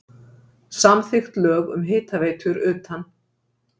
Samþykkt lög um hitaveitur utan